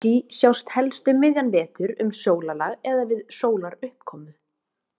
Glitský sjást helst um miðjan vetur, um sólarlag eða við sólaruppkomu.